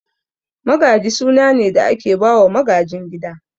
Magaji suna ne da ake bawa magajin gida